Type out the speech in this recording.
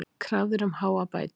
Krafðir um háar bætur